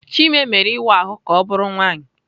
Chime mere ịwa ahụ ka ọ bụrụ nwaanyị.